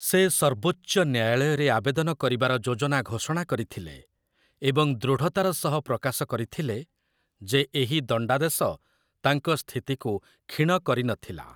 ସେ ସର୍ବୋଚ୍ଚ ନ୍ୟାୟାଳୟରେ ଆବେଦନ କରିବାର ଯୋଜନା ଘୋଷଣା କରିଥିଲେ, ଏବଂ ଦୃଢ଼ତାର ସହ ପ୍ରକାଶ କରିଥିଲେ ଯେ ଏହି ଦଣ୍ଡାଦେଶ ତାଙ୍କ ସ୍ଥିତିକୁ କ୍ଷୀଣ କରିନଥିଲା ।